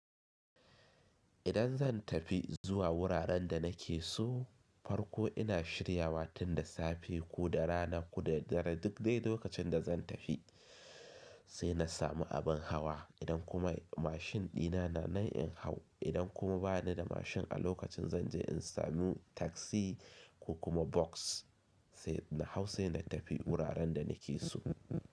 Idan zan tafi zuwa wuraren da nake so, farko ina shiryawa tun da safe ko da rana ko da dare duk dai lokacin da zan tafi, sai na samu abin hawa idan kuma mashin dina na na in hau idan kuma ba ni da mashin a lokacin zan je in samu taksi ko kuma bas sai na hau sai na tafi wuraren da nake so.